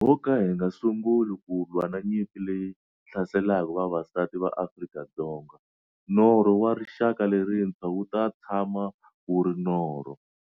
Loko ho ka hi nga sunguli ku lwa na nyimpi leyi hlaselaka vavasati va Afrika-Dzonga, norho wa rixaka lerintshwa wu ta tshama wu ri norho.